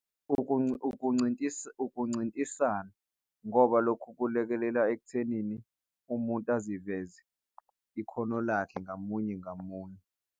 Ukuncintisana ngoba lokhu kulekelela ekuthenini umuntu aziveze ikhono lakhe ngamunye ngamunye.